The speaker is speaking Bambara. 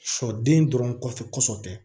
Sɔden dɔrɔn kɔfɛ